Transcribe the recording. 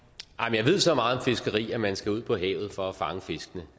jeg ved så meget om fiskeri at man skal ud på havet for at fange fiskene